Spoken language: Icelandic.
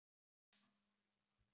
Við tefldum í fjóra klukkutíma!